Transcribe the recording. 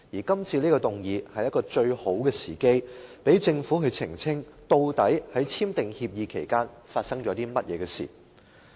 今次的議案是一個最好的機會，讓政府澄清究竟在簽訂協議期間發生了甚麼事情。